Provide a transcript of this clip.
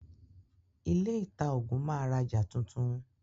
Ilé ìtaògùn máa rajà tuntun.